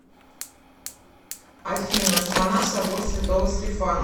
афина страна собор святого стефана